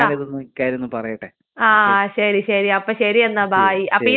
ആഹ് ശരി ശരി.അപ്പൊ എന്നാ ബായ്. അപ്പൊ ഈ നമ്പറ് സേവ് ചെയ്ത് വെച്ചോ.